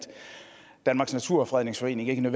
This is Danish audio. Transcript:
danmarks naturfredningsforening er